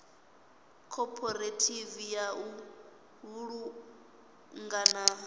khophorethivi ya u vhulunga na